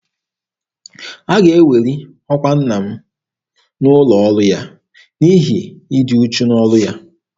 A ga-eweli ọkwa nna m n'ụlọ ọrụ ya n'ihi ịdị uchu n'ọrụ ya.